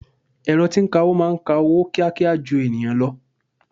Ẹ̀rọ tí ń kawó máa ń ka owó kíákíá ju ènìyàn lọ.